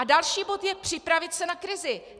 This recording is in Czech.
A další bod je připravit se na krizi.